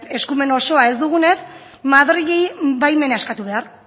eskumen oso ez dugunez madrileri baimena eskatu behar